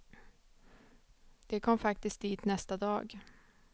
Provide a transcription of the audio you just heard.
De kom faktiskt dit nästa dag.